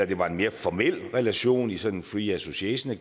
det var en mere formel relation i sådan en free association